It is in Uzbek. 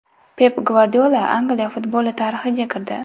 Pep Gvardiola Angliya futboli tarixiga kirdi.